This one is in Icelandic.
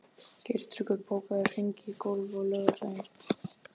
Geirtryggur, bókaðu hring í golf á laugardaginn.